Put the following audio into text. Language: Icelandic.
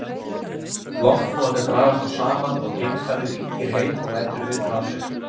Loftpúðarnir dragast þá saman og geimfarið hringir heim og lætur vita af sér.